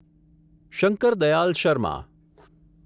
Shankar Dayal Sharma